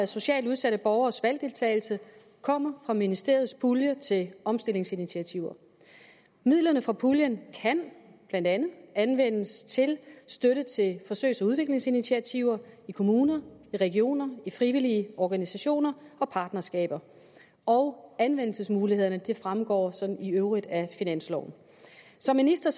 socialt udsatte borgeres valgdeltagelse kommer fra ministeriets pulje til omstillingsinitiativer midlerne fra puljen kan blandt andet anvendes til støtte til forsøgs og udviklingsinitiativer i kommuner i regioner i frivillige organisationer og partnerskaber og anvendelsesmulighederne fremgår i øvrigt af finansloven som minister